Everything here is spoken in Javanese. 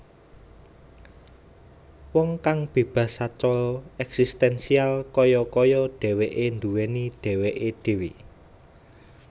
Wong kang bébas sacara èksistènsial kaya kaya dhèwèké nduwèni dhèwèké dhèwè